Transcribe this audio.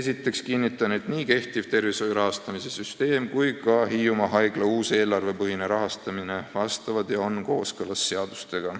" Esiteks kinnitan, et nii kehtiv tervishoiu rahastamise süsteem kui ka Hiiumaa haigla uus eelarvepõhine rahastamine on kooskõlas seadustega.